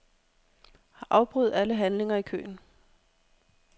Afbryd alle handlinger i køen.